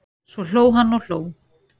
Svo hló hann og hló.